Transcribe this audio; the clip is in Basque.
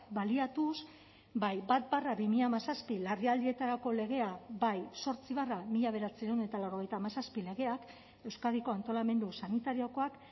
baliatuz bai bat barra bi mila hamazazpi larrialdietarako legea bai zortzi barra mila bederatziehun eta laurogeita hamazazpi legeak euskadiko antolamendu sanitariokoak